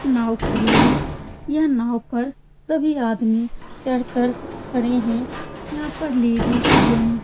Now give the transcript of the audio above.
एक नाव खड़ी है | यह नाव पर सभी आदमी चढ़ कर खड़े हैं | यहाँ पर लेडीज जेंट्स --